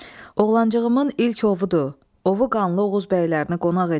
Oğlancığımın ilk ovudur, ovu qanlı Oğuz bəylərini qonaq edim dedi.